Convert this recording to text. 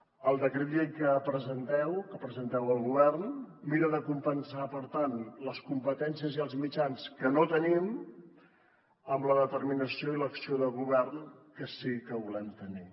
el decret llei que presenteu el govern mira de compensar per tant les competències i els mitjans que no tenim amb la determinació i l’acció de govern que sí que volem tenir